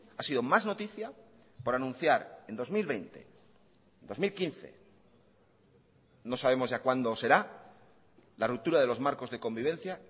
ha sido más noticia por anunciar en dos mil veinte dos mil quince no sabemos ya cuando será la ruptura de los marcos de convivencia